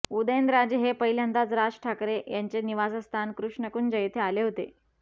उदयनराजे हे पहिल्यांदाच राज ठाकरे यांचे निवासस्थान कृष्णकुंज येथे आले होते